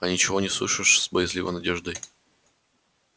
а ничего не слышишь с боязливой надеждой